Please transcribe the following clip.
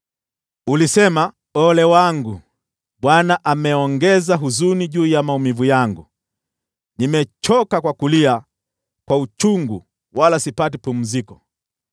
Ulisema, ‘Ole wangu! Bwana ameongeza huzuni juu ya maumivu yangu, nimechoka kwa kulia kwa uchungu wala sipati pumziko.’ ”